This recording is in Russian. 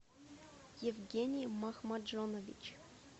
евгений махмаджонович